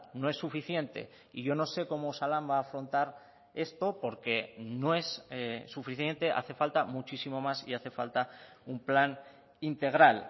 no es suficiente y yo no sé cómo osalan va a afrontar esto porque no es suficiente hace falta muchísimo más y hace falta un plan integral